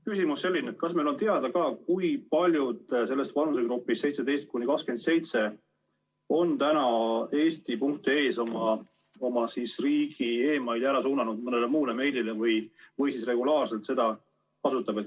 Küsimus on selline: kas meil on teada, kui paljud vanusegrupis 17–27 on eesti.ee‑s oma e‑mail'id suunanud edasi mõnele muule meiliaadressile või siis regulaarselt seda kasutavad?